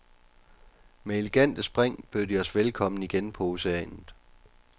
Med elegante spring bød de os velkomne igen på oceanet.